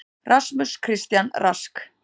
RASMUS CHRISTIAN RASK